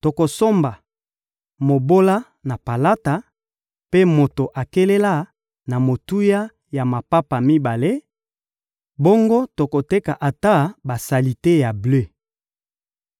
Tokosomba mobola na palata mpe moto akelela na motuya ya mapapa mibale, bongo tokoteka ata basalite ya ble.